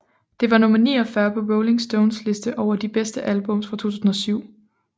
Det var nummer 49 på Rolling Stones liste over de bedste albums fra 2007